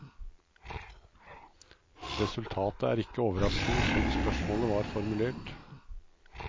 Resultatet er ikke overraskende slik spørsmålet var formulert.